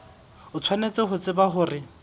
o tshwanetse ho tseba hore